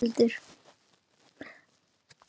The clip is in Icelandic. Hann hefur ekkert breyst heldur.